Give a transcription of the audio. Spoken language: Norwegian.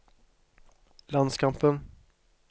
landskampen